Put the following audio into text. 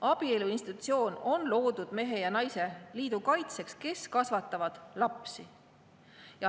Abielu institutsioon on loodud, kaitsmaks mehe ja naise liitu, kus kasvatatakse lapsi.